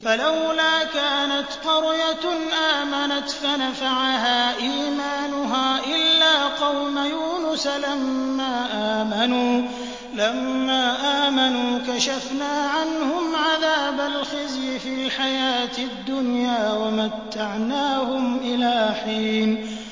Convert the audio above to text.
فَلَوْلَا كَانَتْ قَرْيَةٌ آمَنَتْ فَنَفَعَهَا إِيمَانُهَا إِلَّا قَوْمَ يُونُسَ لَمَّا آمَنُوا كَشَفْنَا عَنْهُمْ عَذَابَ الْخِزْيِ فِي الْحَيَاةِ الدُّنْيَا وَمَتَّعْنَاهُمْ إِلَىٰ حِينٍ